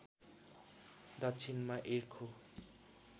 दक्षिणमा इर्खु